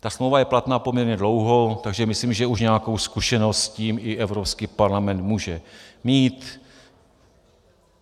Ta smlouva je platná poměrně dlouho, takže myslím, že už nějakou zkušenost s tím i Evropský parlament může mít.